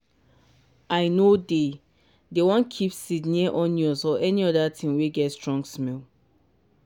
i nor dey dey wan keep seed near onions or any other thing wey get strong smell.